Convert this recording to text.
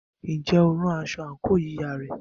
Ǹjẹ́ o rán aṣọ àǹkóò yíya rẹ?